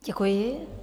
Děkuji.